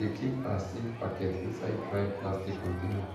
she dey keep her seed packets inside dry plastic container